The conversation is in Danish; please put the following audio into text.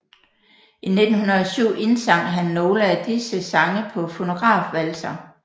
I 1907 indsang han nogle af disse sange på fonografvalser